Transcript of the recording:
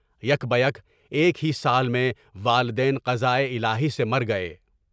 یک بہ یک ایک ہی سال میں والدین قضائے الٰہی سے گزر گئے۔